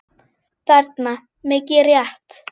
þarna, mikið rétt.